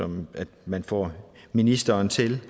om at man får ministeren til